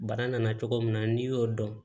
Bara nana cogo min na n'i y'o dɔn